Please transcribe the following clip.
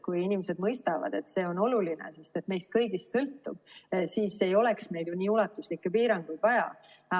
Kui inimesed mõistavad, et see on oluline, sest see sõltub meist kõigist, siis ei oleks meil ju nii ulatuslikke piiranguid vaja.